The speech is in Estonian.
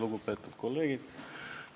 Lugupeetud kolleegid!